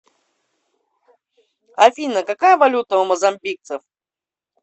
афина какая валюта у мозамбикцев